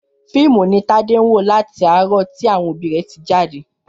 Fíìmù ni Tádé ń wò láti àárọ̀ tí àwọn rẹ̀ tí jáde